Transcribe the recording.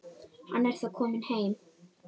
Hann er þó kominn heim.